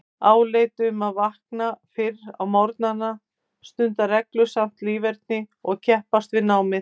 Áheit um að vakna fyrr á morgnana, stunda reglusamt líferni og keppast við námið.